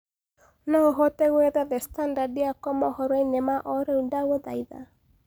no uhote gũetha the standard yakwa mohoro-ĩnĩ ma o rĩũ ndagũthaĩtha